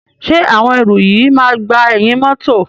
Ṣé àwọn ẹrù yìí máa gba ẹ̀yìn mọ́tọ̀.